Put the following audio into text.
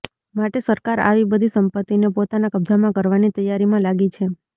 માટે સરકાર આવી બધી સંપત્તિને પોતાના કબ્જામાં કરવાની તૈયારીમાં લાગી છે